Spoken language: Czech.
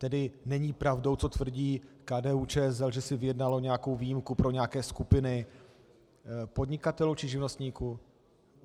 Tedy není pravdou, co tvrdí KDU-ČSL, že si vyjednalo nějakou výjimku pro nějaké skupiny podnikatelů či živnostníků?